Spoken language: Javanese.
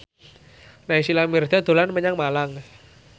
Naysila Mirdad dolan menyang Malang